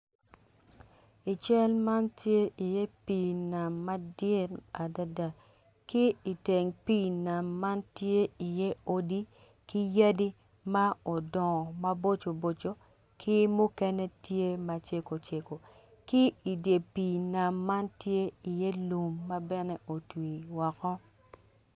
I cal man tye i iye pii nam madit adada ki iteng pii nam man tye iye odi ki yadi ma odongo maboco boco ki mukene tye maceko ceko ki i dye pii nam man tye iye lum ma bene gutwii woko.